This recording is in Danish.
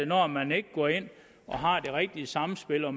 når man ikke går ind og har det rigtige samspil og